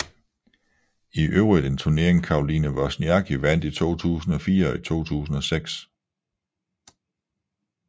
I øvrigt en turnering Caroline Wozniacki vandt i 2004 og 2006